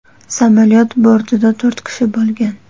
Samolyot bortida to‘rt kishi bo‘lgan.